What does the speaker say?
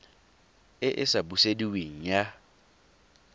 e e sa busediweng ya